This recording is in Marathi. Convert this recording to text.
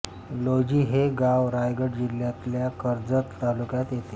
लौजी हे गाव रायगड जिल्ह्यातल्या कर्जत तालुक्यात येते